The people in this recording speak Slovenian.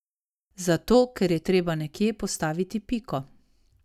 Zato, ker je treba nekje postaviti piko.